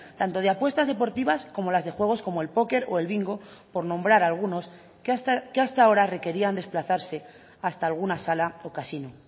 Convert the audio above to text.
tanto de apuestas deportivas como las de juegos como el póker o el bingo por nombrar algunos que hasta ahora requerían desplazarse hasta alguna sala o casino